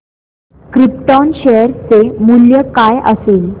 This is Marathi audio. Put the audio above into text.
क्रिप्टॉन शेअर चे मूल्य काय असेल